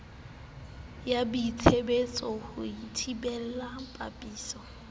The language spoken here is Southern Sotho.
ya boitsebiso ho thibela pepeso